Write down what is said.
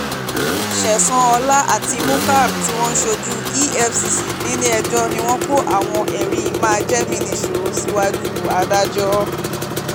ṣẹ̀san ọlá àtimukhar tí wọ́n ṣojú efcc nílẹ̀-ẹjọ́ ni wọ́n kó àwọn ẹ̀rí máa jẹ mí nìṣó síwájú adájọ́